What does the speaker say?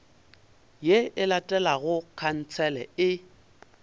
ye e latelago khansele e